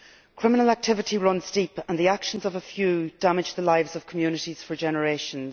Criminal activity runs deep, and the actions of a few damage the lives of communities for generations.